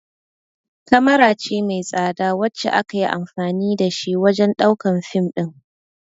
kamara ce mai tsada wacce akayi anfani da shi wajan ɗaukan fim ɗin